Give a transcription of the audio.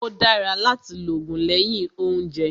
Ó dára láti lògùn lẹ́yìn óúnjẹ